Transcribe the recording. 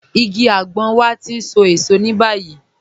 Ìgí àgbọn wà tí ń sọ èṣọ̀ ni báyìí.